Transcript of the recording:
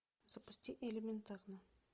запусти элементарно